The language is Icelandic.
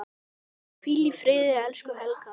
Hvíl í friði, elsku Helga.